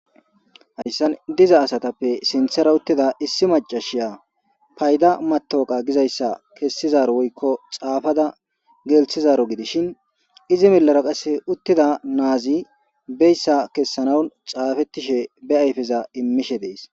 hayssan diza asatappe sinthera uttida issi macashiya payda matoqa gizayssa kessizaro woykko xaafada gelthizaro gidishin izi millera qase uttida naazi beyssa kessanaun xaafettishe be ayfeza immishe dees